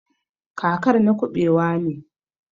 kakar na kubewa ne.